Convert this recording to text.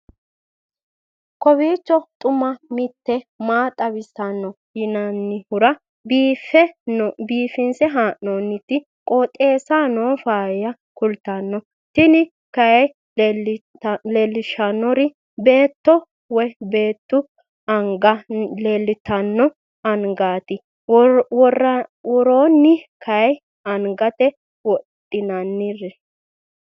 kowiicho xuma mtini maa xawissanno yaannohura biifinse haa'noonniti qooxeessano faayya kultanno tini kayi leellishshannori beettote woy beetu anga leeltanno angate woronni kayi angate wodhinanniri